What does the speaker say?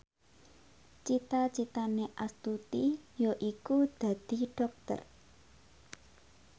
cita citane Astuti yaiku dadi dokter